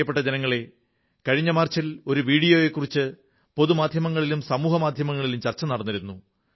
പ്രിയപ്പെട്ട ജനങ്ങളേ കഴിഞ്ഞ മാർച്ചിൽ ഒരു വീഡിയോയെക്കുറിച്ച് പൊതുമാധ്യമങ്ങളിലും സാമൂഹ്യമാധ്യമങ്ങളിലും ചർച്ച നടന്നിരുന്നു